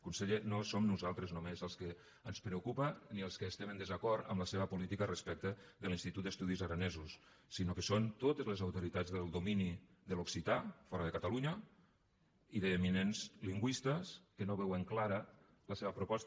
conseller no som nosaltres només als que ens preocupa ni els que estem en desacord amb la seva política respecte de l’institut d’estudis aranesos sinó que són totes les autoritats del domini de l’occità fora de catalunya i d’eminents lingüistes que no veuen clara la seva proposta